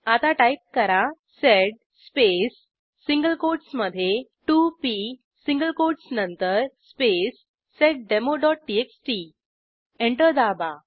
आता टाईप करा sed space single कोटसमधे 2पी सिंगल कोटस नंतर स्पेस seddemoटीएक्सटी एंटर दाबा